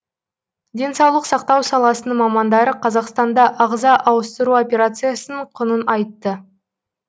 денсаулық сақтау саласының мамандары қазақстанда ағза ауыстыру операциясының құнын айтты